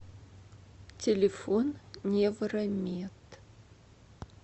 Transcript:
телефон невромед